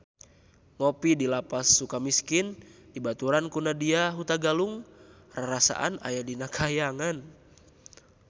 Ngopi di Lapas Sukamiskin dibaturan ku Nadya Hutagalung rarasaan aya di kahyangan